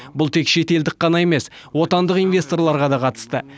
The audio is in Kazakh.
бұл тек шетелдік қана емес отандық инвесторларға да қатысты